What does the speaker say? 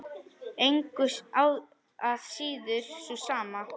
Engu að síður sú sama.